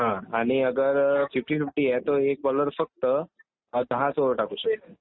आणि अगर fifty fifty आहे तो एक बोलर फक्त दहाच ओवर टाकू शकते.